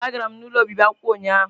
Ee, agara m ụlọ obibi akwụkwọ ụnyahụ